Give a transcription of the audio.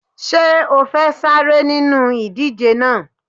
Ṣé o fẹ́ sáré nínú ìdíje náà?